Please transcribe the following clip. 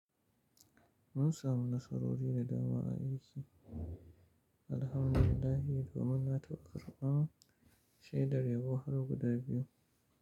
Mun samu nasarori da dama a aiki, Alhamdulillah, domin na taɓa karɓa shedar yabo har guda biyu.